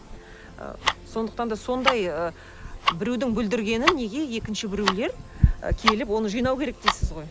ы сондықтан да сондай ы біреудің бүлдіргенін неге екінші ы біреулер і келіп оны жинау керек дейсіз ғой